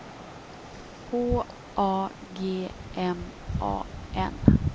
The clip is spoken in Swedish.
H A G M A N